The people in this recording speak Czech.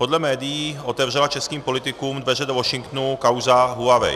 Podle médií otevřela českým politikům dveře do Washingtonu kauza Huawei.